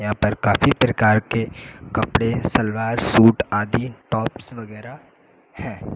यहां पर काफी प्रकार के कपड़े सलवार सूट आदि टॉप्स वगैरा हैं।